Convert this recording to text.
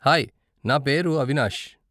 Hi, నా పేరు అవినాష్.